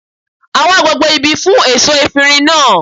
A wá gbogbo ibi fún èso efirin náà